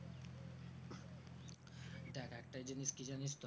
দেখ একটা জিনিস কি জানিস তো